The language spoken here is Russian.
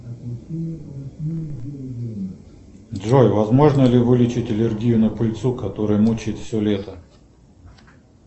джой возможно ли вылечить аллергию на пыльцу которая мучает все лето